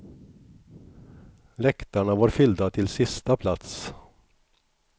Läktarna var fyllda till sista plats.